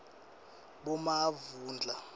bomavundla